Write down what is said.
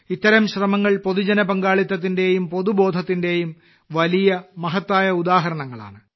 ഇത്തരം ശ്രമങ്ങൾ പൊതുജനപങ്കാളിത്തത്തിന്റെയും പൊതുബോധത്തിന്റെയും വലിയ മഹത്തായ ഉദാഹരണങ്ങളാണ്